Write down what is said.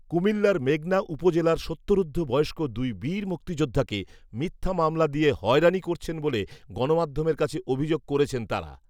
কুমিল্লার মেঘনা উপজেলার সত্তরঊর্ধ্ব বয়স্ক দুই বীর মুক্তিযোদ্ধাকে মিথ্যা মামলা দিয়ে হয়রানি করছেন বলে গণমাধ্যমের কাছে অভিযোগ করেছেন তারা